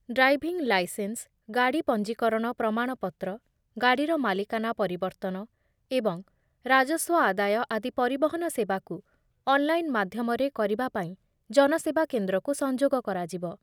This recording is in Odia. ଡ୍ରାଇଭିଂ ଲାଇସେନ୍ସ, ଗାଡ଼ି ପଞ୍ଜିକରଣ ପ୍ରମାଣପତ୍ର, ଗାଡ଼ିର ମାଲିକାନା ପରିବର୍ତ୍ତନ ଏବଂ ରାଜସ୍ୱ ଆଦାୟ ଆଦି ପରିବହନ ସେବାକୁ ଅନଲାଇନ ମାଧ୍ୟମରେ କରିବା ପାଇଁ ଜନସେବା କେନ୍ଦ୍ରକୁ ସଂଯୋଗ କରାଯିବ ।